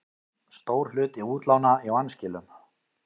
Stór hluti útlána í vanskilum